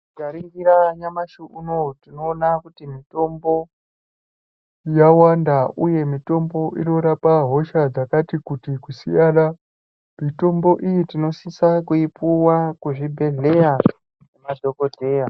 Tikaringira nyamashi unowu tinoona kuti mitombo, yawanda uye mitombo inorapa hosha dzakati kuti kusiyana. Mitombo iyi tinosisa kuipuwa kuzvibhedhleya nemadhokodheya.